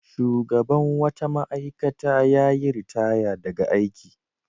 Shugaban wata ma'aikata ya yi ritaya daga aiki.